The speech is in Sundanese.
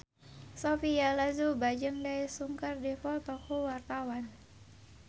Sophia Latjuba jeung Daesung keur dipoto ku wartawan